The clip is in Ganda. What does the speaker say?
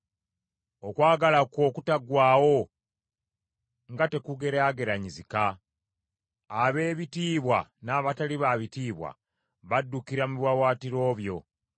Okwagala kwo okutaggwaawo nga tekugeraageranyizika. Ab’ebitiibwa n’abatali ba bitiibwa baddukira mu biwaawaatiro byo.